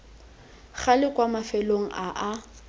gale kwa mafelong a a